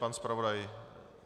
Pan zpravodaj?